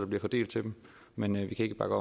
bliver fordelt til dem men vi kan ikke bakke